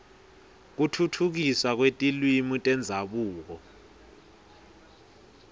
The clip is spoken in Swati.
kutfutfukiswa kwetilwimi tendzabuko